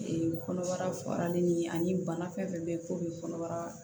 Ee kɔnɔbara farinin ye ani bana fɛn fɛn bɛ ye k'o bɛ kɔnɔbara